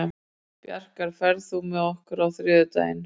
Bjarkar, ferð þú með okkur á þriðjudaginn?